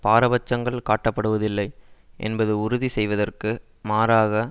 பாரபட்சங்கள் காட்ட படுவதில்லை என்பதை உறுதி செய்வதற்கு மாறாக